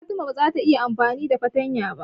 Fatima ba za ta iya amfani da fatanya ba.